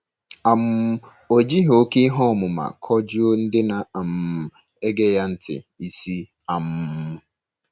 um O jighị oké ihe ọmụma kọjuo ndị na - um ege ya ntị isi. um